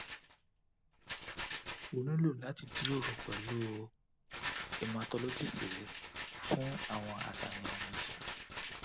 o nilo lati jiroro pẹlu hematologist re fun awọn aṣayan wọnyi